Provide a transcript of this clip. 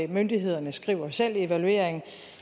myndighederne skriver selv i evalueringen